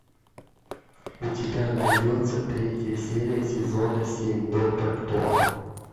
у тебя найдется третья серия сезона семь доктор кто